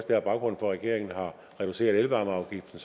der er baggrunden for at regeringen har reduceret elvarmeafgiften